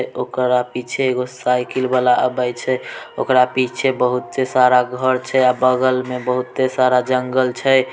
ओकरा पीछे एगो साइकिल वाला आबह छै ओकरा पीछे बहुत सारा घर छै बगल में बहुते सारा जंगल छै।